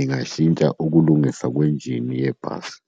Ingashintsha ukulungisa kwenjini yebhasi.